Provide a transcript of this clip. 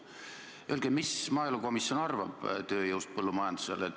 Öelge, mis maaelukomisjon arvab tööjõust põllumajanduses.